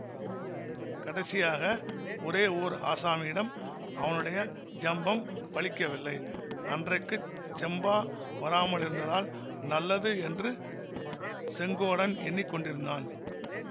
கடைசியாக ஒரே ஓர் ஆசாமியிடம் அவனுடைய ஜம்பம் பலிக்கவில்லை அன்றைக்குச் செம்பா வராமலிருந்ததால் நல்லது என்று செங்கோடன் எண்ணி கொண்டிருந்தான்